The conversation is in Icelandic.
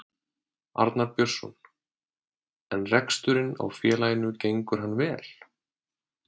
Arnar Björnsson: En reksturinn á félaginu gengur hann vel?